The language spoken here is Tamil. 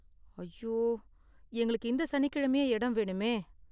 ஐயோ, எங்களுக்கு இந்த சனிக்கிழமையே இடம் வேணுமே.